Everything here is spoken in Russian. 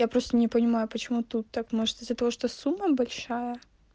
я просто не понимаю почему тут так может из-за того что сумма большая